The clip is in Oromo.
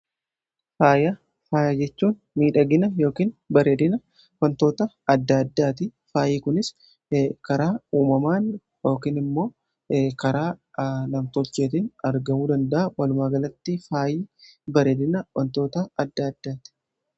faaya faayajechuun miidhagina yookn bareedina wantoota adda addaati faayii kunis karaa uumamaan yookiin immoo karaa lamtocheetiin argamuu dandaa walumaagalatti faayyii bareedina wantoota adda addaati